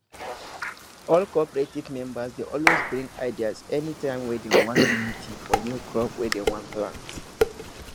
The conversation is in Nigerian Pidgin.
all cooperative members dey always bring ideas anytime wey dem wan do meeting for new crop wey dem wan plant